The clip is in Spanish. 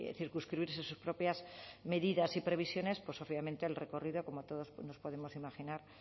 circunscribirse sus propias medidas y previsiones pues obviamente el recorrido como todos nos podemos imaginar